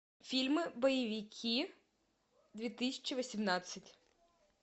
фильмы боевики две тысячи восемнадцать